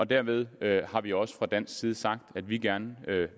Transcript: dermed har vi også fra dansk side sagt at vi gerne